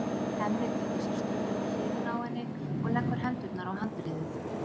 Hemmi tekur sér stöðu við hliðina á henni og leggur hendurnar á handriðið.